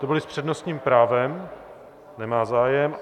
To byly s přednostním právem, nemá zájem.